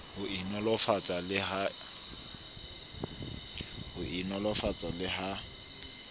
ho e nolofatsa le ha